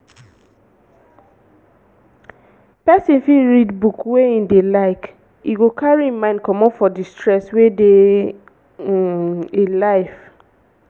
person fit read book wey im like e go carry im mind comot from di stress wey dey um im life